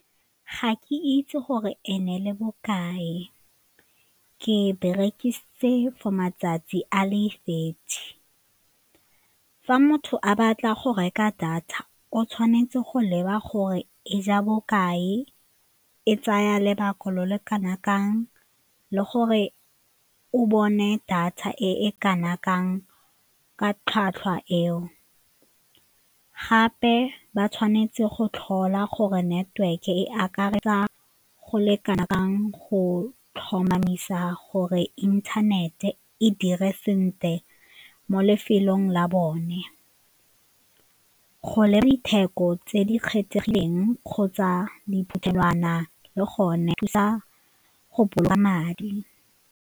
Ga ke itse gore e ne e le bokae, ke e berekisitse for matsatsi a le thirty. Fa motho a batla go reka data o tshwanetse go leba gore e ja bokae, e tsaya lebaka leo le kanakang le gore o bone data e kana kang ka tlhwatlhwa eo, gape ba tshwanetse go tlhola gore network-e e akaretsa go le kana kang go tlhomamisa gore inthanete e dire sentle mo lefelong la bone, go le ditheko tse di kgethegileng kgotsa diphuthelwana le gone thusa go boloka madi.